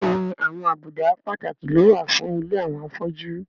Bẹ́ẹ̀ni àwọn àbùdá pàtàkì ló wà fún ilé àwọn afọ́jú